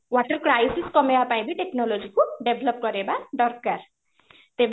water crisis କମେଇବା ପାଇଁ ବି technology କୁ develop କରେଇବା ଦରକାର ତେବେ